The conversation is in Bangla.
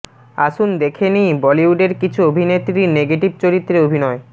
আসুন দেখে নেই বলিউডের কিছু অভিনেত্রীর নেগেটিভ চরিত্রে অভিনয়